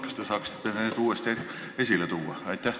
Kas te saaksite need uuesti esile tuua?